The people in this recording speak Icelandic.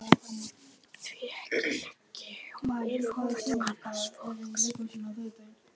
Því ekki liggi hún í rúmfötum annars fólks.